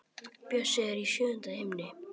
Bjössi er í sjöunda himni.